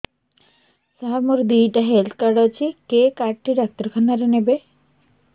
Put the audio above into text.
ସାର ମୋର ଦିଇଟା health card ଅଛି କେ କାର୍ଡ ଟି ଡାକ୍ତରଖାନା ରେ ନେବେ